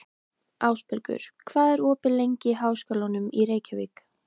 Ásbergur, hvað er opið lengi í Háskólanum í Reykjavík?